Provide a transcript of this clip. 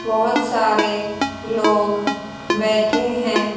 बहोत सारे लोग बैठे हैं।